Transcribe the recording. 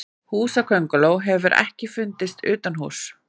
Húsakönguló hefur ekki fundist utanhúss.